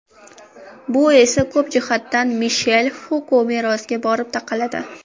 Bu esse ko‘p jihatdan Mishel Fuko merosiga borib taqaladi.